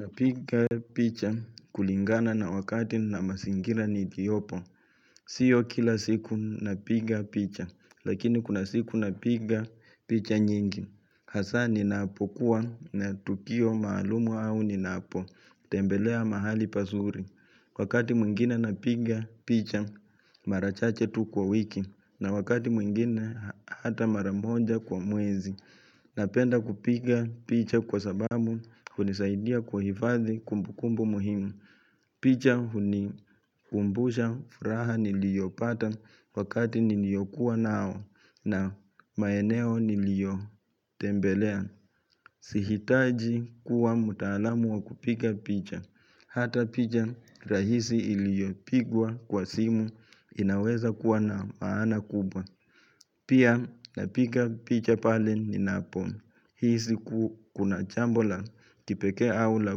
Napiga picha kulingana na wakati na masingira niliopo. Sio kila siku napiga picha, lakini kuna siku napiga picha nyingi. Hasa ni napokuwa na tukio maalumu au ninapo. Tembelea mahali pasuri. Wakati mwingine napiga picha, mara chache tu kwa wiki. Na wakati mwingine hata maramoja kwa mwezi. Napenda kupiga picha kwa sababu hunisaidia kwa hifadhi kumbukumbu muhimu. Picha hunikumbusha furaha niliopata wakati niliokuwa nao na maeneo niliotembelea. Si hitaji kuwa mtaalamu wa kupika picha Hata picha rahisi iliopigwa kwa simu inaweza kuwa na maana kubwa Pia napika picha pale ninapo hisi siku kuna chambola kipeke au la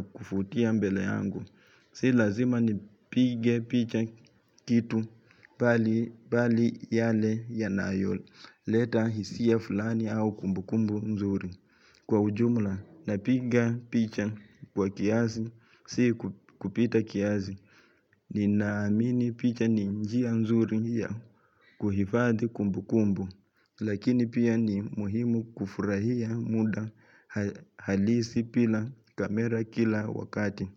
kufutia mbele angu Si lazima nipige picha kitu pali yale ya nayo leta hisia fulani au kumbukumbu nzuri kwa ujumla, napiga picha kwa kiazi, si kupita kiazi, ninaamini picha ni njia nzuri ya kuhifadhi kumbukumbu, lakini pia ni muhimu kufurahia muda halisi pila kamera kila wakati.